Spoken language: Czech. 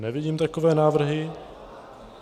Nevidím takové návrhy.